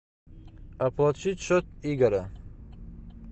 оплатить счет игоря